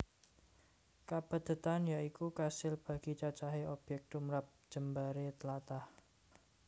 Kapadhetan ya iku kasil bagi cacahé obyek tumrap jembaré tlatah